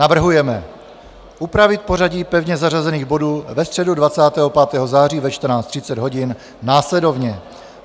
Navrhujeme upravit pořadí pevně zařazených bodů ve středu 25. září ve 14.30 hodin následovně: